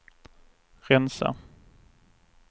rensa